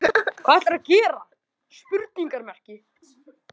Hvað ætlarðu að gera?